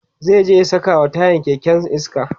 zai je ya sakawa tayan kekensa iska